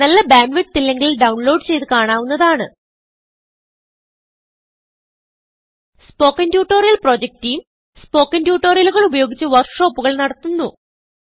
നല്ല bandwidth ഇല്ലെങ്കിൽ download ചെയ്ത് കാണാവുന്നതാണ് spoken tutorial project team spoken ട്യൂട്ടോറിയലുകൾ ഉപയോഗിച്ച് വർക്ക് ഷോപ്പുകൾ നടത്തുന്നു